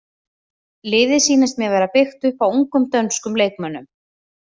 Liðið sýnist mér vera byggt upp á ungum dönskum leikmönnum.